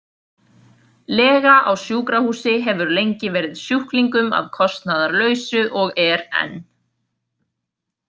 Lega á sjúkrahúsi hefur lengi verið sjúklingum að kostnaðarlausu og er enn.